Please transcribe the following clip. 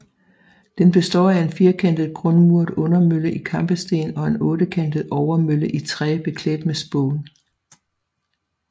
Den består af en firkantet grundmuret undermølle i kampesten og en ottekantet overmølle i træ beklædt med spån